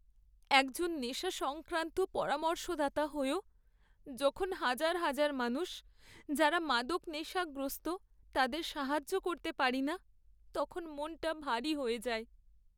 একজন নেশা সংক্রান্ত পরামর্শদাতা হয়েও যখন হাজার হাজার মানুষ যারা মাদক নেশাগ্রস্ত তাদের সাহায্য করতে পারি না, তখন মনটা ভারী হয়ে যায়।